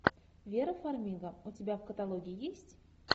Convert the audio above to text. вера фармига у тебя в каталоге есть